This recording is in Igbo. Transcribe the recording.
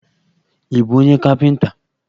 Ị bụbu onye kapịnta?